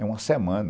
É uma semana.